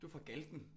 Du fra Galten